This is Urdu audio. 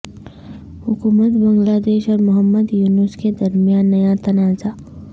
حکومت بنگلہ دیش اور محمد یونس کے درمیان نیا تنازع